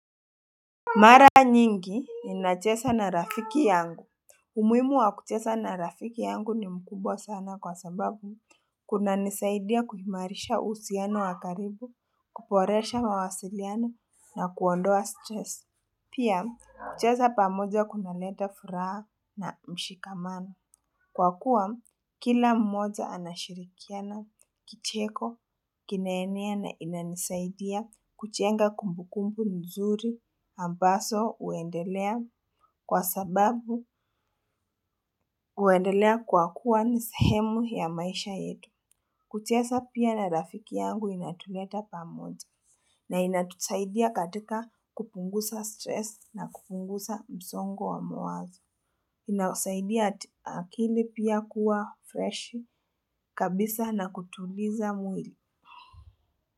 Mara nyingi ninacheza na rafiki yangu. Umuhimu wa kucheza na rafiki yangu ni mkubwa sana kwa sababu kunanisaidia kuhimarisha uhusiano wa karibu, kuboresha mawasiliano na kuondoa stress. Pia, kucheza pamoja kunaleta furaha na mshikamano. Kwa kuwa, kila mmoja anashirikiana kicheko, kinaenea na inanisaidia kujenga kumbu kumbu nzuri ambazo huendelea kwa sababu huendelea kwa kuwa ni sehemu ya maisha yetu. Kucheza pia na rafiki yangu inatuleta pamoja. Inasaidia akili pia kuwa freshi kabisa na kutuliza mwili.